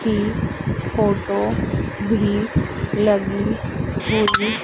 कि फोटो भी लगी हुई--